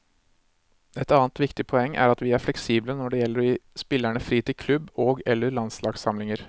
Et annet viktig poeng er at vi er fleksible når det gjelder å gi spillerne fri til klubb og eller landslagssamlinger.